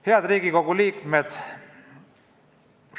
Head Riigikogu liikmed!